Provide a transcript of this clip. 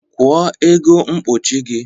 Kwọ ego mkpụchị gi